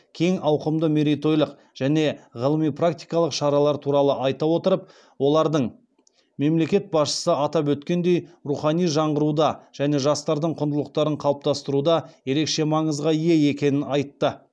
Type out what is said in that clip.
кең ауқымды мерейтойлық және ғылыми практикалық шаралар туралы айта отырып олардың мемлекет басшысы атап өткендей рухани жаңғыруда және жастардың құндылықтарын қалыптастыруда ерекше маңызға ие екенін айтты